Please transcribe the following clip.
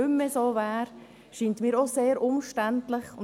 Wenn ich dies lese, scheint es mir auch sehr umständlich zu sein.